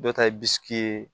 Dɔw ta ye ye